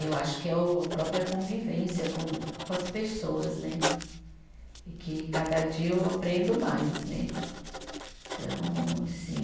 Eu acho que é o a própria convivência com com as pessoas né, e que cada dia eu aprendo mais né, então assim